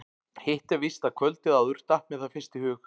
Hitt er víst að kvöldið áður datt mér það fyrst í hug.